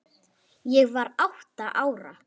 Ég var átta ára.